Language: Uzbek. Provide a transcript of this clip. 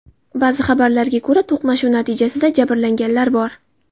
Ba’zi xabarlarga ko‘ra, to‘qnashuv natijasida jabrlanganlar bor.